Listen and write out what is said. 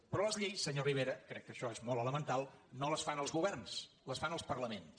però les lleis senyor rivera crec que això és molt elemental no les fan els governs les fan els parlaments